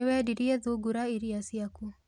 Nĩwendirie thungura irĩa ciaku?